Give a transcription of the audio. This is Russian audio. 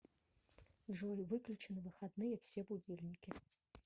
джой выключи на выходные все будильники